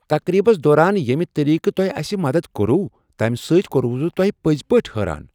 تقریبس دوران ییٚمہِ طریقہٕ تۄہہ اسہِ مدد كورو، تمہِ سٕتۍ كوٚروَس بہٕ تۄہہِ پٔزۍ پٲٹھۍ حیران ۔